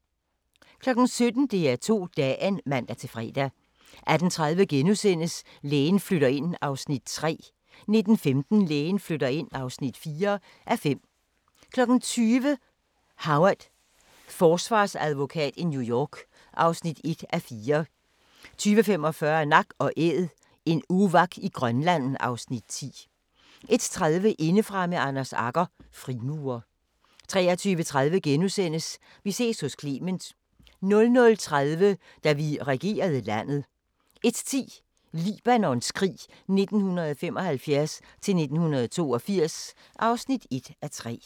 17:00: DR2 Dagen (man-fre) 18:30: Lægen flytter ind (3:5)* 19:15: Lægen flytter ind (4:5) 20:00: Howard – forsvarsadvokat i New York (1:4) 20:45: Nak & Æd – en uvak i Grønland (Afs. 10) 21:30: Indefra med Anders Agger – Frimurer 23:30: Vi ses hos Clement * 00:30: Da vi regerede landet 01:10: Libanons krig 1975-1982 (1:3)